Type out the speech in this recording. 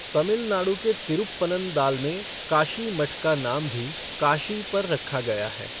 तमिलनाडु के तिरुप्पनन्दाल में काशी मठ का नाम भी काशी पर रखा गया है।